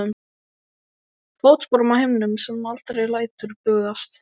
Fótsporum á himnum sem aldrei lætur bugast.